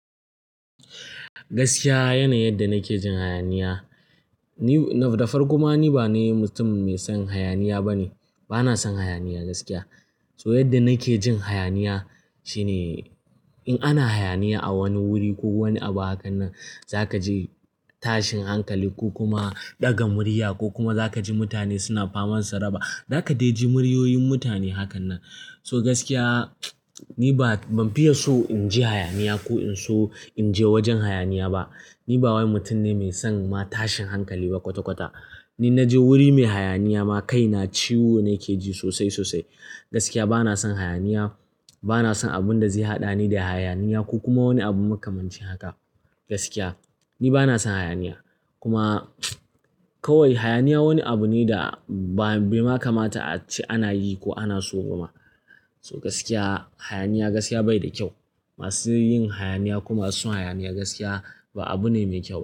Gaskiya yanayin yadda nake jin hayaniya. Ni nadafarko ma ni ba ni mutum mai son hayaniya ba ne. Bana son hayaniya gaskiya. To yadda nake jin hayaniya shine in ana hayaniya a wani wuri ko wani abu hakan nan za ka ji tashin hankali ko kuma ɗaga murya ko kuma za ka ji mutane suna faman saraba. Za ka dai ji muryoyin mutane hakan nan. So gaskiya ni ba ban fiye so in ji hayaniya ko in so in je wajen hayaniya ba. Ni ba wani mutum ne mai son ma tashin hankali ba kwata kwata. Ni na je wuri mai hayaniya ma kai na ciwo nake ji sosai sosai. Gaskiya bana son hayaniya. Bana son abun da zai haɗa ni da hayaniya ko kuma wani abu makamanci haka. Gaskiya ni bana son hayaniya. Kuma kawai hayaniya wani abu ne da bai ma kamata a ce ana yi ko ana so kuma. So gaskiya hayaniya gaskiya bai da kyau. Masu yin hayaniya ko masuson hayaniya gaskiya ba abu ne mai kyau.